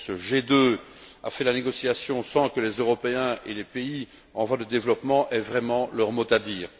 Ce G2 a mené la négociation sans que les Européens et les pays en voie de développement aient vraiment leur mot à dire.